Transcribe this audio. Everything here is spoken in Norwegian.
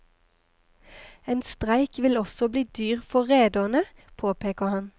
En streik vil også bli dyr for rederne, påpeker han.